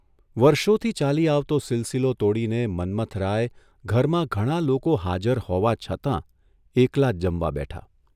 વર્ષોથી ચાલી આવતો સિલસિલો તોડીને મન્મથરાય ઘરમાં ઘણાં લોકો હાજર હોવા છતાં એકલા જ જમવા બેઠા.